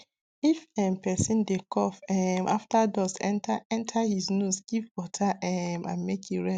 if um person dey cough um after dust enter enter him nose give water um and make e rest